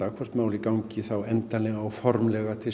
hvort málið gangi þá endanlega og formlega til